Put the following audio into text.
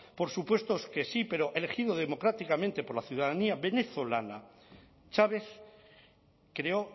por supuesto que sí pero elegido democráticamente por la ciudadanía venezolana chávez creó